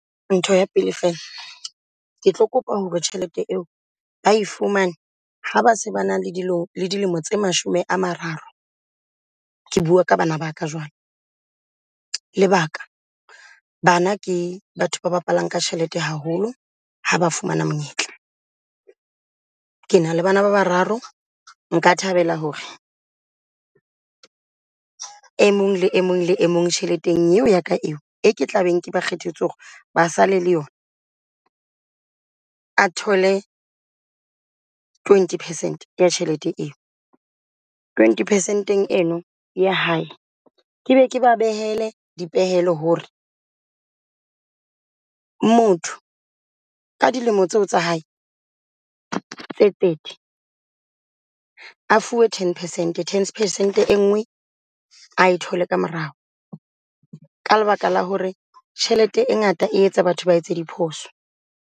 Ntho ya pele fela ke tlo kopa hore tjhelete eo bae fumane ha base ba na le dilemo tse mashome a mararo. Ke bua ka bana ba ka jwalo. Lebaka, bana ke batho ba bapalang ka tjhelete haholo ha ba fumana monyetla. Ke na le bana ba bararo. Nka thabela hore e mong le e mong le e mong tjheleteng eo ya ka eo e ke tla beng ba kgethetswe hore ba sale le yona a thole twenty percent ya tjhelete Eo. Twenty percent eno ya hae ke be ke ba behele di pehelo hore motho ka dilemo tseo tsa hae tse thirty a fuwe ten percent, ten percent e ngee e thole ka morao ka lebaka la hore tjhelete e ngata e etsa batho ba etse diphoso.